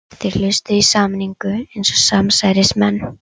Þeir hlustuðu í sameiningu eins og samsærismenn.